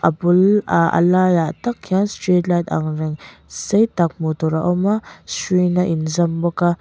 bulah a lai takah hian street light angreng sei tak hmuh tur a awm a hruiin a inzawm bawka--